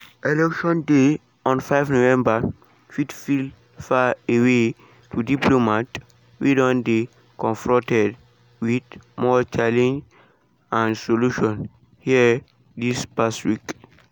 election day on 5 november fit feel faraway to diplomats wey don dey confronted wit more challenges dan solutions here dis past week.